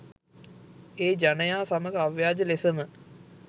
ඒ ජනයා සමග අව්‍යාජ ලෙසම